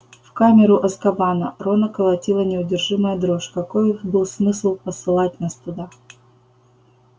в камеру азкабана рона колотила неудержимая дрожь какой был смысл посылать нас туда